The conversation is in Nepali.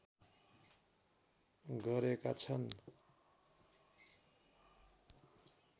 गरेका छन्।